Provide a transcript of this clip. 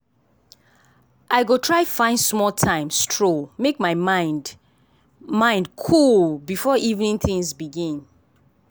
i go try find small time stroll make my mind mind cool before evening things begin.